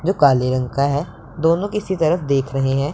जो काले रंग का है दोनों किसी तरफ देख रहे हैं।